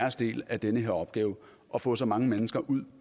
del af den her opgave og få så mange mennesker ud